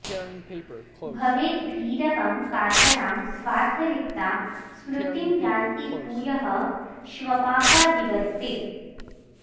भवेद् भीरवं कातरां स्वार्थलिप्ता स्मृतिं यान्ति भूयः श्वपाकादिवत् ते